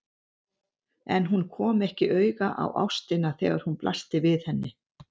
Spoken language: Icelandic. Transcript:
En hún kom ekki auga á ástina þegar hún blasti við henni.